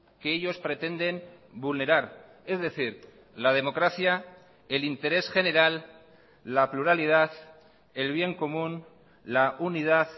que ellos pretenden vulnerar es decir la democracia el interés general la pluralidad el bien común la unidad